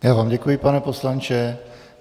Já vám děkuji, pane poslanče.